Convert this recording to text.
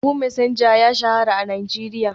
Yahoo Messenger ya shahara a Najeriya.